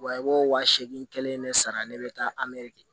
Wa i b'o wa seegin kelen ne sara ne bɛ taa ameri kɛ